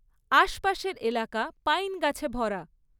আশপাশের এলাকা পাইন গাছে ভরা।